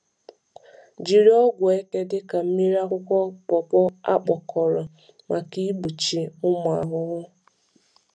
Jiri ọgwụ eke dị ka mmiri akwụkwọ pawpaw a kpụkọrọ maka igbochi ụmụ maka igbochi ụmụ ahụhụ.